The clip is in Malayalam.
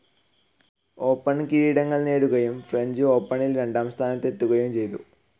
ഓപ്പൻ കിരീടങ്ങൾ നേടുകയും ഫ്രഞ്ച്‌ ഓപ്പണിൽ രണ്ടാം സ്ഥാനത്തെത്തുകയും ചെയ്തു.